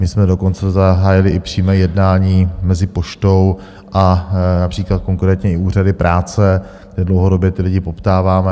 My jsme dokonce zahájili i přímé jednání mezi Poštou a například konkrétně i úřady práce, kde dlouhodobě ty lidi poptáváme.